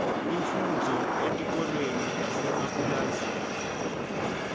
imfundvo etikolweni tasemapulazini